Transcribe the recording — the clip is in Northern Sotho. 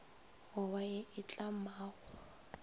go ba ye e tlamago